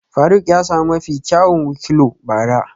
Faruk ya sami mafi kyawun wikliow bara